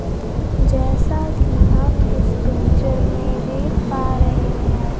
जैसा की हम इस पिक्चर में देख पा रहे हैं।